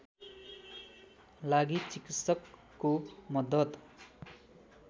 लागि चिकित्सकको मद्दत